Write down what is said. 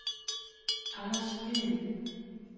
Anders Hvid